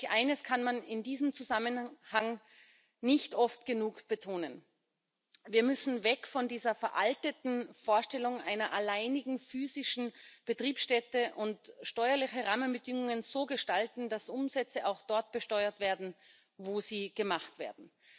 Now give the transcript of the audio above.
Eines kann man in diesem Zusammenhang nicht oft genug betonen Wir müssen weg von dieser veralteten Vorstellung einer alleinigen physischen Betriebsstätte und steuerliche Rahmenbedingungen so gestalten, dass Umsätze auch dort besteuert werden, wo sie gemacht werden.